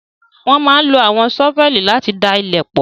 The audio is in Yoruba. Wọ́n máa ń lo àwọn ṣọ́fẹlì láti da ilẹ̀ pọ̣̀